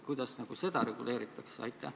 Kuidas seda reguleeritakse?